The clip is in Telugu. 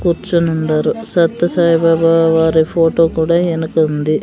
కూర్చొనుండారు సత్యసాయి బాబా వారి ఫోటో కూడా ఎనకుంది.